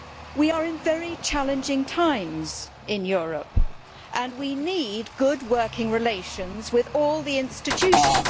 We are in very challenging times in Europe and we need good working relations with all the institutions.